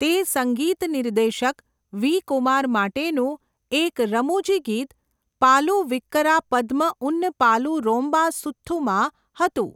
તે સંગીત નિર્દેશક વી. કુમાર માટેનુંં એક રમૂજી ગીત 'પાલુ વિક્કિરા પદ્મ ઉન પાલુ રોમ્બા સુથ્થમા?' હતું.